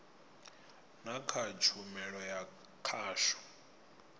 na kha tshumelo ya khasho